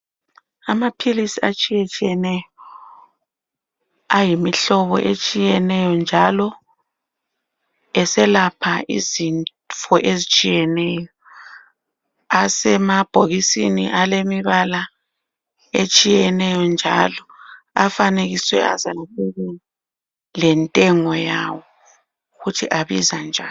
Amaphilisi atshiyatshiyeneyo ayimihlobo etshiyeneyo njalo eselapha izifo ezitshiyeneyo asemabhokisini alemibala etshiyeneyo njalo afanekiswe lentengo yawo ukuthi abiza njani.